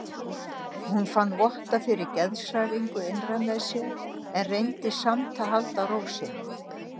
Hún fann votta fyrir geðshræringu innra með sér en reyndi samt að halda ró sinni.